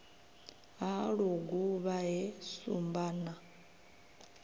ha luguvha he shumba na